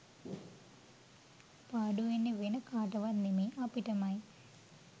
පාඩුවෙන්නේ වෙන කාටවත් නෙමෙයි අපිටමයි.